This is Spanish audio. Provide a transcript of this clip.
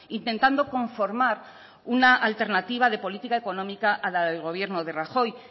intentando conformar una alternativa de política económica a la del gobierno de rajoy